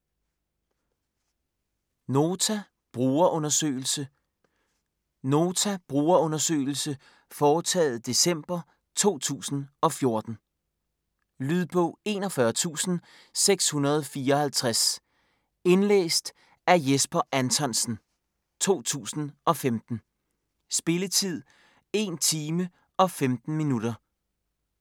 Nota brugerundersøgelse Nota brugerundersøgelse foretaget december 2014. Lydbog 41654 Indlæst af Jesper Anthonsen, 2015. Spilletid: 1 timer, 15 minutter.